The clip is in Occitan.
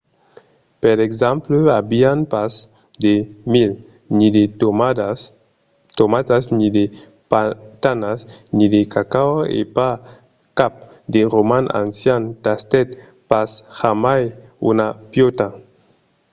per exemple avián pas de milh ni de tomatas ni de patanas ni de cacao e pas cap de roman ancian tastèt pas jamai una piòta